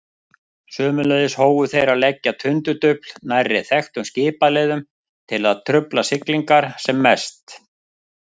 Sömuleiðis hófu þeir að leggja tundurdufl nærri þekktum skipaleiðum til að trufla siglingar sem mest.